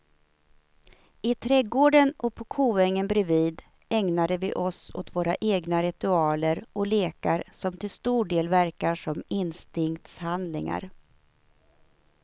I trädgården och på koängen bredvid ägnade vi oss åt våra egna ritualer och lekar som till stor del verkar som instinktshandlingar.